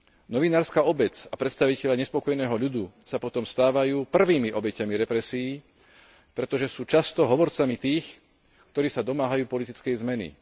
Novinárska obec a predstavitelia nespokojného ľudu sa potom stávajú prvými obeťami represií, pretože sú často hovorcami tých, ktorí sa domáhajú politickej zmeny.